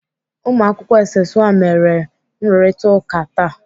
Ụmụakwụkwọ SS 1 mere nrụrịtaụka taa.